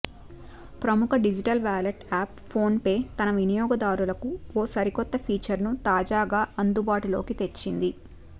ప్రముఖ digital wallet app PhonePe తన వినియోగదారులకు ఓ సరికొత్త ఫీచర్ను తాజాగా అందుబాటులోకి తెచ్చింది